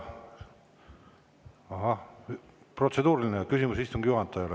Ahah, protseduuriline küsimus istungi juhatajale.